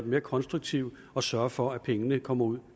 mere konstruktiv og sørge for at pengene kommer ud